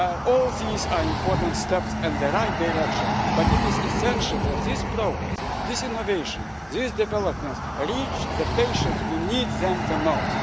this issue. All these are important steps in the right direction, but it is essential that this progress, this innovation and these developments reach the patients who need them